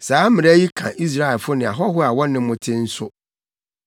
Saa mmara yi ka Israelfo ne ahɔho a wɔne mo te no nso.”